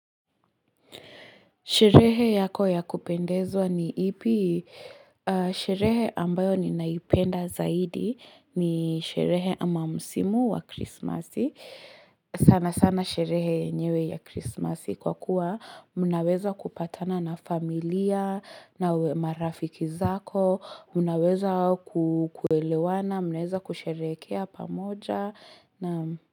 Sherehe yako ya kupendezwa ni ipi Sherehe ambayo ninaipenda zaidi ni sherehe ama msimu wa krismasi sana sana sherehe yenyewe ya krismasi Kwa kuwa mnaweza kupatana na familia na marafiki zako Mnaweza kukuelewana Mnaweza kusherekea pamoja na.